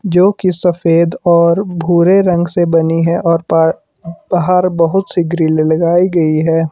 जो की सफेद और भूरे रंग से बनी है और पा बाहर बहोत सी ग्रील लगाई गई है।